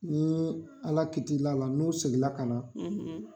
Ni Ala kiti la la n'o segin la ka na.